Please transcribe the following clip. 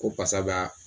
Ko basa bɛ a